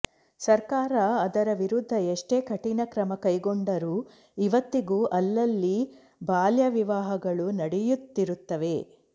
ಸರ್ಕಾರ ಅದರ ವಿರುದ್ಧ ಎಷ್ಟೇ ಕಠಿಣ ಕ್ರಮ ಕೈಗೊಂಡರೂ ಇವತ್ತಿಗೂ ಅಲ್ಲಲ್ಲಿ ಬಾಲ್ಯವಿವಾಹಗಳು ನಡೆಯುತ್ತಿರುತ್ತವೆ